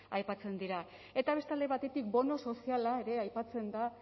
aipatzen dira eta beste alde batetik bono soziala ere aipatzen da